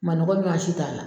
Manɔgɔ ɲuwan si t'a la.